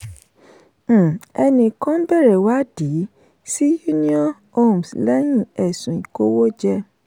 um ẹni kan bẹ̀rẹ̀ ìwádìí sí union homes lẹ́yìn ẹ̀sùn ìkówójẹ.